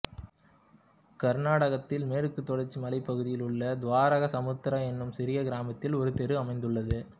கர்நாடகத்தில் மேற்கு தொடர்ச்சி மலைப் பகுதியில் உள்ள துவாரகசமுத்திரா என்னும் சிறிய கிராமத்தில் ஒரு தெரு அமைந்துள்ளது